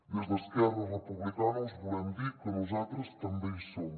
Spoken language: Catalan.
des d’esquerra republicana us volem dir que nosaltres també hi som